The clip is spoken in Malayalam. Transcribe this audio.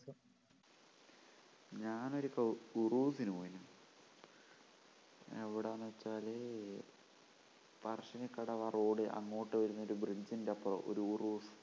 ഞാൻ ഒരു ദിവസം ഉറൂസിന് പോയിരുന്നു എവിടാന്ന് വച്ചാല് പറശ്ശിനിക്കടവ് ആ road അങ്ങോട്ട് വരുന്ന ഒരു bridge ൻ്റെ അപ്പുറം ഒരു ഉറൂസ്